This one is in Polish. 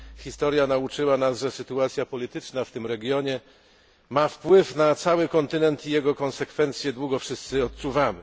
Historia nauczyła nas, że sytuacja polityczna w tym regionie ma wpływ na cały kontynent i jego konsekwencje długo wszyscy odczuwamy.